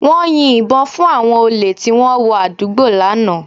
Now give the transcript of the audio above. Wọ́n yin ìbọn fún àwọn olè tí wọ́n wọ àdúgbò lánàá